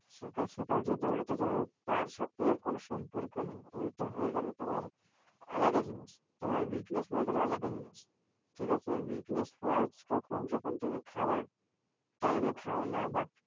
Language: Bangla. সকাল সকাল যে দৌঁড়াতে যাওয়া তার সাথে এর কোন সম্পর্ক নেই। ঐটা হয়ে গেল তোমার আলাদা জিনিস, তোমার weakness হয়ে গেল আলাদা জিনিস, ঠিক আছে? weakness হয় কখন যখন তুমি খাওয়ার time এ খাও না বা